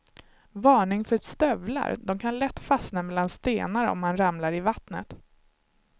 Varning för stövlar, de kan lätt fastna mellan stenar om man ramlar i vattnet.